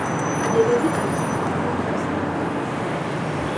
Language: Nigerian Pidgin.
i dey ready my tools before first thunder go strike